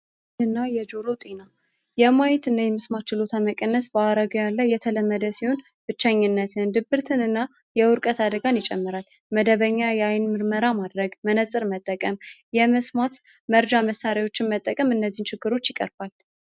የጆሮ ጤና የማየት ችሎታ መቀነስ ያለ የተለመደ ሲሆን ብቸኝነት ድብርትንና የውቀት አደጋን ይጨምራል መደበኛ የአይን ምርመራ ማድረግ መነጽር መጠቀም የምስሞት መረጃ መሳሪያዎችን መጠቀም እነዚህን ችግሮች ይቀርባል